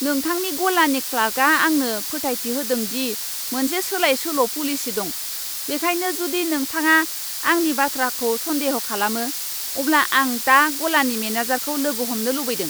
नोंथांनि गलानि क्लार्कआ आंनो फोथायथि होदों दि मोनसे सोलायसोल' पलिसि दं, बेनिखायनो जुदि नोंथाङा आंनि बाथ्राखौ सन्देह' खालामो, अब्ला आं दा गलानि मेनेजारखौ लोगो हमनो लुबैदों।